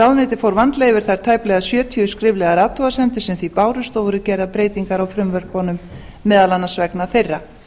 ráðuneytið fór vandlega yfir þær tæplega sjötíu skriflegu athugasemdir sem því bárust og voru gerðar breytingar á frumvörpunum meðal annars vegna þeirra